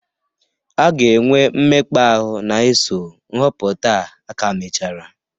A ga-enwe mmekpa ahụ na-eso nhọpụta a aka mechara.